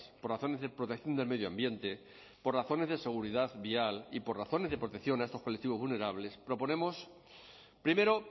por razones de protección del medio ambiente por razones de seguridad vial y por razones de protección a estos colectivos vulnerables proponemos primero